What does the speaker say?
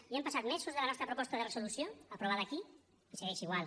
ja han passat mesos des de la nostra proposta de resolució aprovada aquí i segueix igual